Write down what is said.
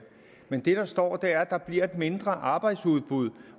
men det der står er at der bliver et mindre arbejdsudbud